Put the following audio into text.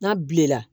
N'a bilenna